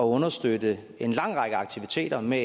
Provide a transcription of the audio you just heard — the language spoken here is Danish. understøtte en lang række aktiviteter med